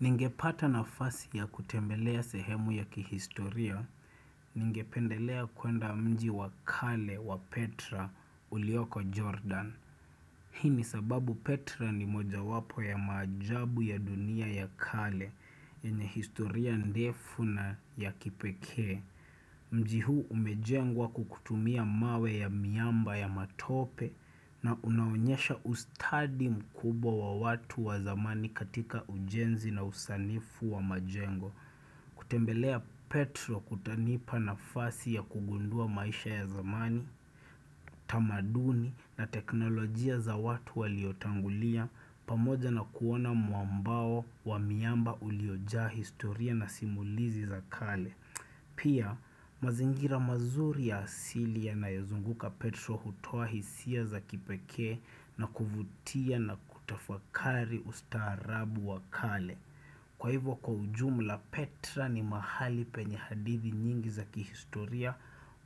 Ningepata nafasi ya kutembelea sehemu ya kihistoria, ningependelea kwenda mji wakale wa Petra ulioko Jordan. Hii ni sababu Petra ni moja wapo ya maajabu ya dunia ya kale, yenye historia ndefu na ya kipekee. Mji huu umejengwa kukutumia mawe ya miamba ya matope na unaonyesha ustadi mkubwa watu wa zamani katika ujenzi na usanifu wa majengo kutembelea petro kutanipa na fasi ya kugundua maisha ya zamani, tamaduni na teknolojia za watu waliotangulia pamoja na kuona muambao wa miamba uliojaa historia na simulizi za kale Pia mazingira mazuri ya asili ya nayozunguka Petra hutoa hisia za kipekee na kuvutia na kutafakari usta arabu wakale. Kwa hivyo kwa ujumla Petra ni mahali penye hadithi nyingi za kihistoria